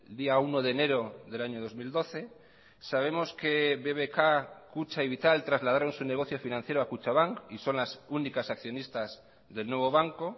día uno de enero del año dos mil doce sabemos que bbk kutxa y vital trasladaron su negocio financiero a kutxabank y son las únicas accionistas del nuevo banco